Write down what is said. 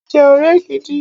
Ẹ jẹ́ ọ̀rẹ́ gidi!